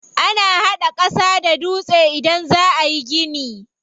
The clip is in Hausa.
Ana hada ƙasa da dutse idan za ayi gini.